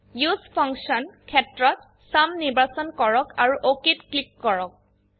উচে ফাংচন ক্ষেত্ৰত চুম নিৰ্বাচন কৰক আৰু OKত ক্লিক কৰক